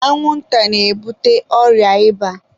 anwụnta na-ebute ọrịa ịba